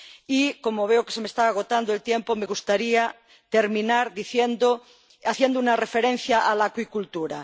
Y, como veo que se me está agotando el tiempo, me gustaría terminar haciendo una referencia a la acuicultura.